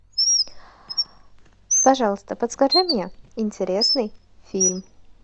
пожалуйста подскажи мне интересный фильм